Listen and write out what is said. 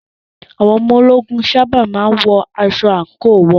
Àwọn ológun sábà má ń wọ aṣọ àǹkóò wọn.